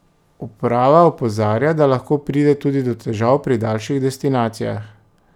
Uprava opozarja, da lahko pride tudi do težav pri daljših destinacijah.